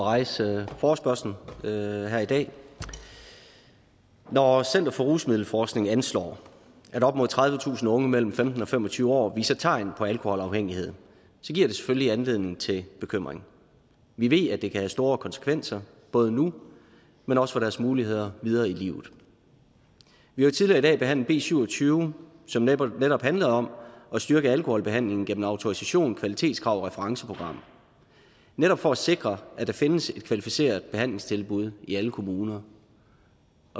rejse forespørgslen her i dag når center for rusmiddelforskning anslår at op mod tredivetusind unge mellem femten og fem og tyve år viser tegn på alkoholafhængighed giver det selvfølgelig anledning til bekymring vi ved at det kan have store konsekvenser både nu men også for deres muligheder videre i livet vi har tidligere i dag behandlet b syv og tyve som netop netop handlede om at styrke alkoholbehandlingen gennem autorisation kvalitetskrav og referenceprogrammer netop for at sikre at der findes et kvalificeret behandlingstilbud i alle kommuner